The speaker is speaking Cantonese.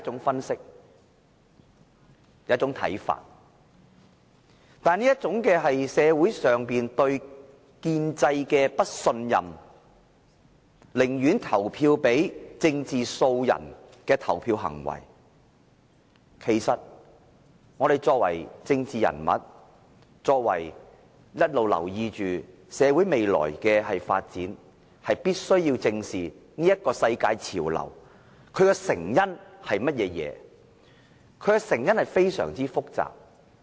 然而，對於這種社會普遍對建制的不信任，寧願投票給政治素人的投票行為，我們作為政治人物，必須一直留意社會未來的發展，以及要正視這個世界潮流的成因為何，而其成因是非常複雜的。